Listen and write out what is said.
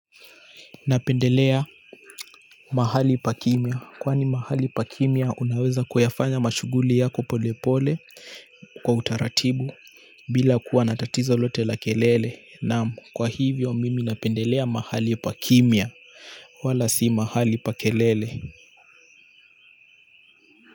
Napendelea mahali pa kimya. Kwani mahali pa kimya unaweza kuyafanya mashughuli yako pole pole kwa utaratibu bila kuwa na tatizo lote la kelele. Naam, kwa hivyo mimi napendelea mahali pa kimya. Wala si mahali pa kelele.